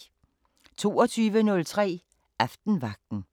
22:03: Aftenvagten